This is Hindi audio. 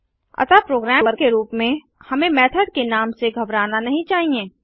अतः प्रोग्रामर के रूप में हमें मेथड के नाम से घबराना नहीं चाहिए